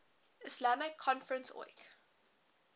islamic conference oic